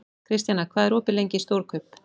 Kristjana, hvað er opið lengi í Stórkaup?